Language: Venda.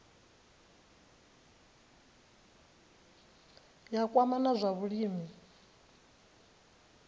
ya kwama na zwa vhulimi